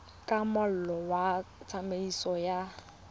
ka molao wa tsamaiso ya